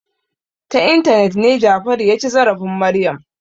Ta intanet ne Jafaru ya ci zarafin Maryam.